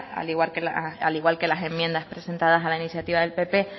al igual que las enmiendas presentadas a las iniciativas del pp